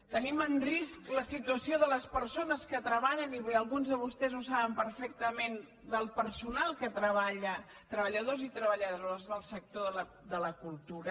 tenim en risc la situació de les persones que treballen i avui alguns de vostès ho saben perfecta·ment del personal que treballa treballadors i treballa·dores del sector de la cultura